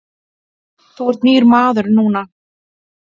Þú ert nýr maður núna.